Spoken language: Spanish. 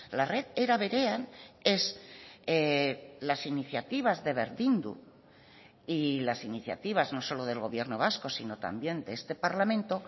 la red eraberean es las iniciativas de berdindu y las iniciativas no solo del gobierno vasco sino también de este parlamento